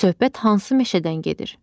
Söhbət hansı meşədən gedir?